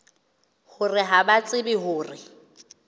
hore ha ba tsebe hore